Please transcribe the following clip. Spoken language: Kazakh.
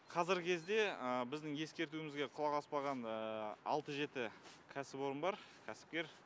қазіргі кезде біздің ескертуімізге құлақ аспаған алты жеті кәсіпорын бар кәсіпкер